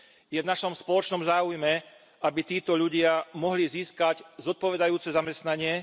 Je v našom spoločnom záujme, aby títo ľudia mohli získať zodpovedajúce zamestnanie.